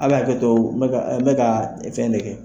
A bɛ hakɛ to n bɛka fɛn de kɛ.